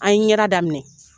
An ye ɲɛda daminɛ